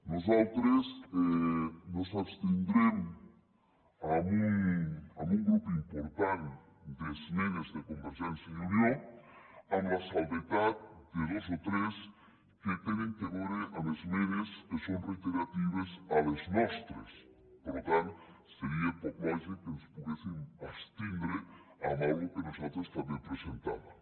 nosaltres ens abstindrem en un grup important d’esmenes de convergència i unió amb l’excepció de dos o tres que tenen a veure amb esmenes que són reiteratives amb les nostres per tant seria poc lògic que ens poguéssim abstenir amb alguna cosa que nosaltres també presentàvem